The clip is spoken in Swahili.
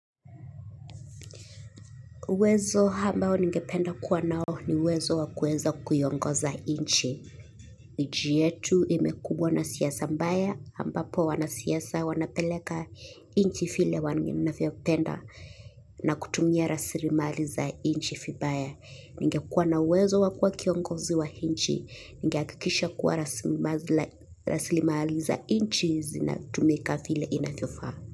Uwezo ambao ningependa kuwa nao ni uwezo wa kuweza kuiongoza nchi. Nchi yetu imekumbwa na siasa mbaya, ambapo wanasiasa wanapeleka nchi vile wanavyopenda na kutumia rasilimali za nchi vibaya. Ningekuwa na uwezo wa kuwa kuongozi wa nchi, ningehakikisha kuwa rasilimali za nchi zinatumika vile inavyofaa.